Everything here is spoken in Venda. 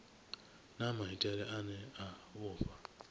na maitele ane a vhofha